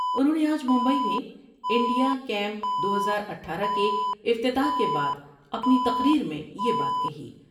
انہوں نے آج مبئی میں انڈیا کیم دو ہزار اٹھارہ کے افتتاح کے بعد اپنی تقریر میں یہ بات کہی ۔